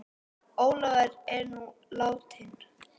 Ólafur er nú látinn.